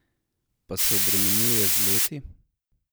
Pa se obremenjuje z leti?